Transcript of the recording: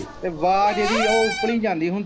ਤੇ ਵਾਜ ਇਹਦੀ ਉਹ ਜਾਂਦੀ ਹੁੰਦੀ ਸੀ।